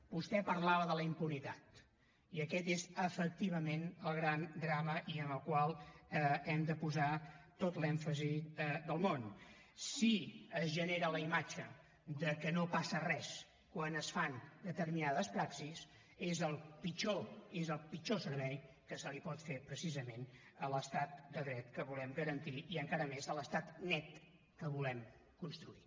vostè parlava de la impunitat i aquest és efectivament el gran drama i en el qual hem de posar tot l’èmfasi del món si es genera la imatge que no passa res quan es fan determinades praxis és el pitjor és el pitjor servei que se li pot fer precisament a l’estat de dret que volem garantir i encara més a l’estat net que volem construir